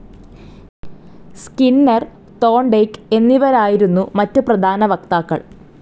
Skinner, തോണ്ടെയ്ക്ക് എന്നിവരായിരുന്നു മറ്റു പ്രധാന വക്താക്കൾ.